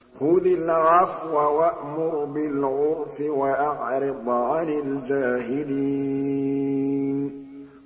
خُذِ الْعَفْوَ وَأْمُرْ بِالْعُرْفِ وَأَعْرِضْ عَنِ الْجَاهِلِينَ